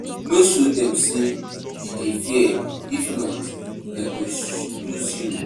No show dem say you dey fear if not dey go use you